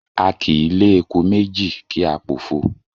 A kì í lé eku méjì kí á pòfo.